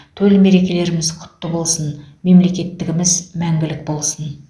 төл мерекеміз құтты болсын мемлекеттігіміз мәңгілік болсын